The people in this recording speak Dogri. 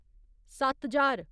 सत्त ज्हार